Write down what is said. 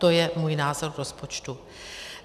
To je můj názor na rozpočet.